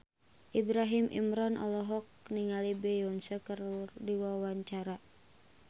Ibrahim Imran olohok ningali Beyonce keur diwawancara